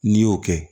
N'i y'o kɛ